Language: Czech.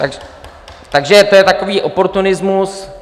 Takže to je takový oportunismus.